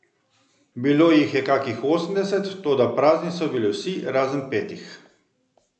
Bilo jih je kakih osemdeset, toda prazni so bili vsi razen petih.